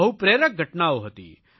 બહુ પ્રેરક ઘટનાઓ હતી